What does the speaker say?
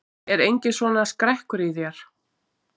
Er enginn svona skrekkur í þér?